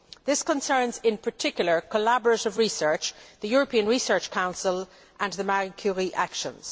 This concerns, in particular, collaborative research, the European Research Council and the Marie Curie Actions.